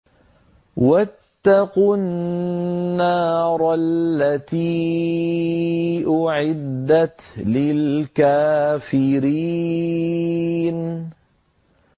وَاتَّقُوا النَّارَ الَّتِي أُعِدَّتْ لِلْكَافِرِينَ